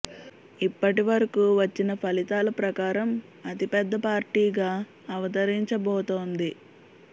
ఇప్పటి వరకు వచ్చిన ఫలితాల ప్రకారం అతి పెద్ద పార్టీగా అవతరించబోతోంది